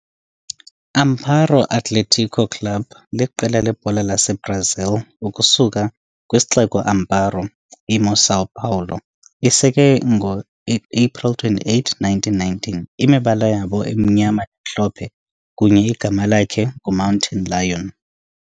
Amparo Athlético Club liqela lebhola saseBrazil ukusuka kwisixeko Amparo, imo São Paulo. Isekelwe April 28, 1919, imibala zabo emnyama namhlophe kunye igama lakhe ngu Mountain Lion.